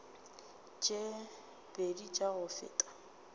tše pedi tša go feta